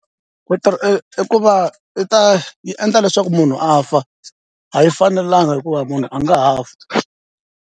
Ku i ku va i ta yi endla leswaku munhu a fa a yi fanelanga hikuva munhu a nga ha fa.